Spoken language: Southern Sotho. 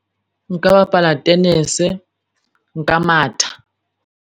Nka bapala tenese, nka matha.